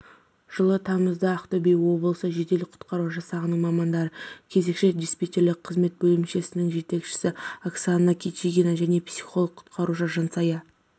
жылы тамызда ақтөбе облысы жедел құтқару жасағының мамандары кезекші-диспетчерлік қызмет бөлімінің жетекшісі оксанакичигина және психолог-құтқарушы жансая